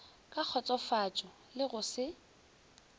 ka kgotsofatšo le go se